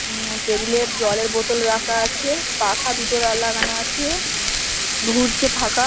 উম table -এ জলের বোতল রাখা আছে পাখা দুটো লাগানো আছে ঘুরছে পাখা।